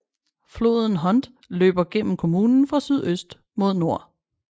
Floden Hunte løber gennem kommunen fra sydøst mod nord